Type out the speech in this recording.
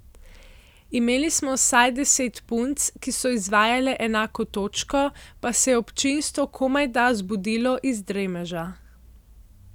Imeli smo vsaj deset punc, ki so izvajale enako točko, pa se je občinstvo komajda zbudilo iz dremeža.